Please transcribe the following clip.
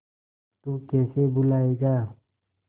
तू कैसे भूलाएगा